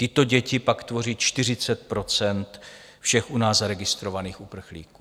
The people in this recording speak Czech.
Tyto děti pak tvoří 40 % všech u nás zaregistrovaných uprchlíků.